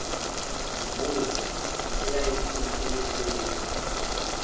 mvula eyayiphuma emehlweni